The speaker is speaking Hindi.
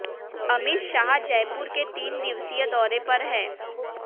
अमित शाह जयपुर के तीन दिवसीय दौरे पर हैं